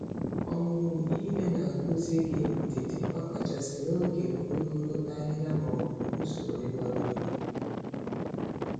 Ọmụmụ ihe na-akụziri gị ndidi, ọkachasị n'oge ogologo ahihia ma ọ bụ usoro ịgba mmiri.